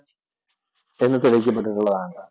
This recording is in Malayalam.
ആണ്